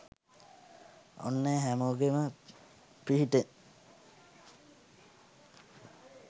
ඔන්න ඒ හැමෝගෙම පිහිටෙන්